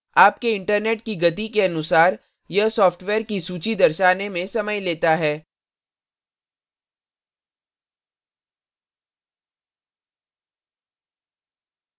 आपके internet की गति के अनुसार यह सॉफ्टवेयर की सूची दर्शाने में समय लेता है